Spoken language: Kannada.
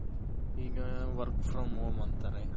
ಈಗ work from home ಅಂತಾರೆ.